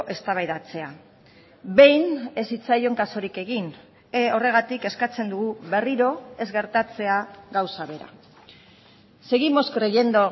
eztabaidatzea behin ez zitzaion kasurik egin horregatik eskatzen dugu berriro ez gertatzea gauza bera seguimos creyendo